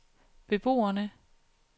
beboerne